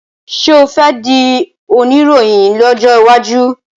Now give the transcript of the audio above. ṣe o fè dì Oníròhìn lójó waju?